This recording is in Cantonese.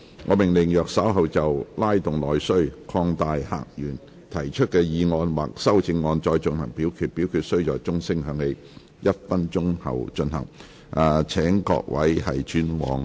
我命令若稍後就"拉動內需擴大客源"所提出的議案或修正案再進行點名表決，表決須在鐘聲響起1分鐘後進行。